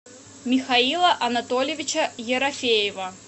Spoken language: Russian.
михаила анатольевича ерофеева